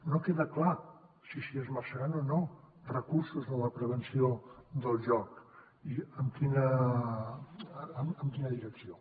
no queda clar si s’hi esmerçaran o no recursos en la prevenció del joc ni en quina direcció